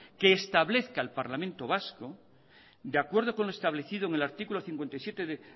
que establezca el parlamento vasco de acuerdo con lo establecido en el artículo cincuenta y siete de